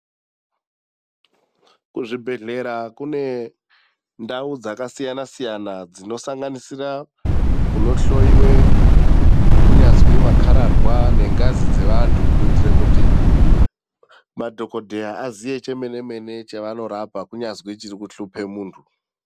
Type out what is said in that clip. Kuzvibhendlera kune ndau dzakasiyana siyana dzinosanganisira kunohloiwa kunyazwi makararwa nengazi dzevantu. Kuitira kuti madhokodheya aziye chemene chemene chavanorapa. Kunyazi chiri kuhlupa muntu.